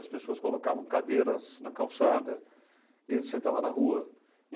As pessoas colocavam cadeiras na calçada e sentava na rua.